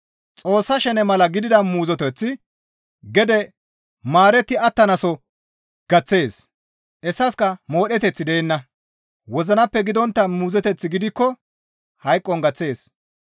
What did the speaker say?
Xoossa shene mala gidida muuzoteththi gede maaretti attanaaso gaththees; hessaska modheteththi deenna; wozinappe gidontta muuzoteththi gidikko hayqon gaththees.